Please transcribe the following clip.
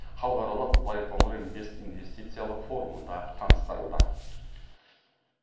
халықаралық байқоңыр инвест инвестициялық форумында таныстырылды